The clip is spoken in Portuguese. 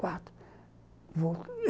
Quatro.